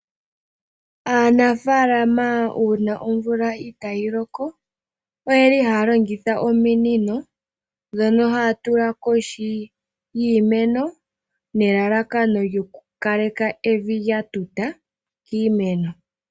Aanafaalama uuna omvula itaayi loko, oyeli haya longitha ominino dhono haya tula kohi yiimeno nelalakano lyoku kaleka evi lya tuta kiimeno.